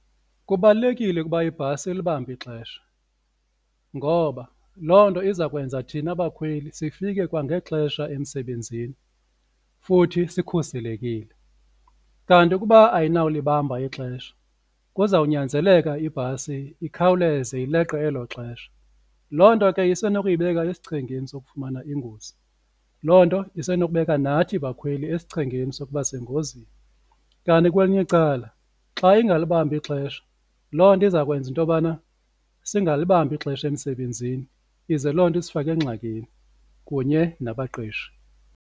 Kubalulekile ukuba ibhasi ilibambe ixesha ngoba loo nto izakwenza thina bakhweli sifike kwangexesha emsebenzini futhi sikhuselekile, kanti ukuba ayinawulibamba ixesha kuzawunyanzeleka ibhasi ikhawuleze ileqe elo xesha loo nto ke isenokuyibeka esichengeni sokufumana ingozi, loo nto isenokubeka nathi bakhweli esichengeni sokuba sengozini. Kanti kwelinye icala xa ingalibambi ixesha loo nto izakwenza into yobana singalibambi ixesha emsebenzini ize loo nto isifake engxakini kunye nabaqeshi.